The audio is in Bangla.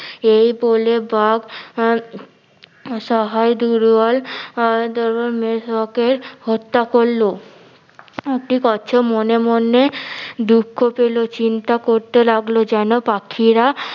এই বলে বাঘ আহ অসহায় দুর্বল আহ কে হত্যা করলো মনে মনে দুঃখ পেলো চিন্তা করতে লাগলো জেনো পাখিরা